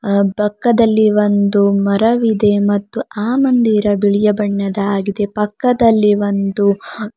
ಅ ಪಕ್ಕದಲ್ಲಿ ಒಂದು ಮರವಿದೆ ಮತ್ತು ಆ ಮಂದಿರ ಬಿಳಿಯ ಬಣ್ಣದಾಗಿದೆ ಪಕ್ಕದಲ್ಲಿ ಒಂದು--